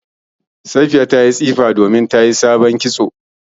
Safiya ta yi tsifa domin ta yi sabon kitso